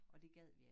Og det gad vi ik